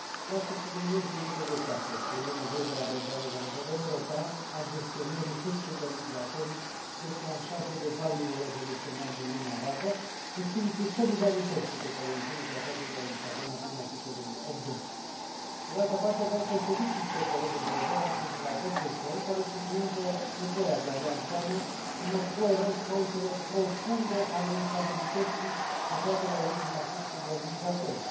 Vreau să subliniez înainte de toate că e nevoie de o abordare la nivel european a gestionării fluxurilor migratorii declanșate de valul revoluționar din lumea arabă, în spiritul solidarității pe care o impune Tratatul de la Lisabona prin articolul 80. Pe de altă parte, vreau să îl felicit pe colegul Provera pentru raportul său, care subliniază nevoia de a lua în seamă, în mod coerent, cauzele profunde ale instabilității aflate la originea fluxurilor migratorii.